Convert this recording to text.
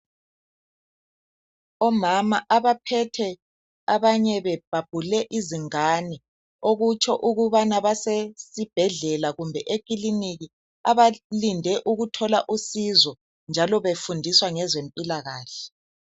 Omama abaphethe lababelethe izingane okutshengisa ukuthi basesibhedlela kumbe ekilinika. Balinde ukuthola usizo njalo lokufundiswa ngezempilakahle.